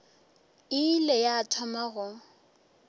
e ile ya thoma go